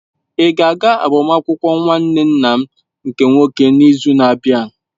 Ị ga-aga agbamakwụkwọ nwanne nna m nke nwoke n'izu na-abịa?